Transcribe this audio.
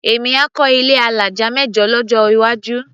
Èmi á kọ́ ilé alájà mẹ́jọ lọ́jọ́ iwájú.